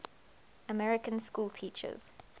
american schoolteachers